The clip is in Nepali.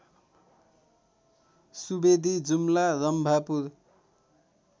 सुवेदी जुम्ला रम्भापुर